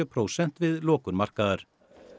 prósent við lokun markaðar